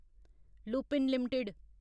Lupin limited